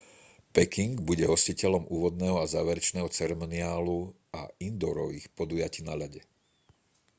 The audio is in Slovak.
peking bude hostiteľom úvodného a záverečného ceremoniálu a indoorových podujatí na ľade